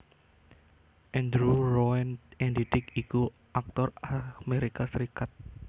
Andrew Roane Andy Dick iku aktor Amerika Serikat